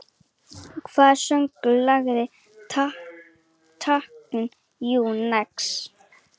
Hver söng lagið Thank you, next?